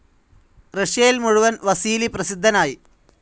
റഷ്യയിൽ മുഴുവൻ വസീലി പ്രസിദ്ധനായി.